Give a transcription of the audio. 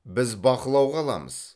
біз бақылауға аламыз